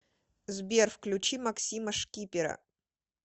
сбер включи максима шкипера